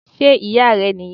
Sé Ìyá rẹ̀ nì yan